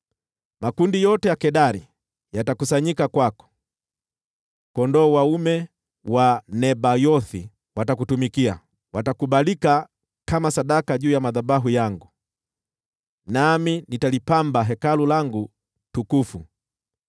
Makundi yote ya Kedari yatakusanyika kwako, kondoo dume wa Nebayothi watakutumikia, watakubalika kama sadaka juu ya madhabahu yangu, nami nitalipamba Hekalu langu tukufu.